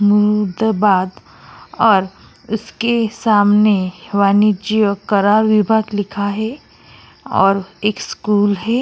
मुमुदाबाद और उसके सामने वाणिज्य कर विभाग लिखा हुआ है और एक स्कूल है।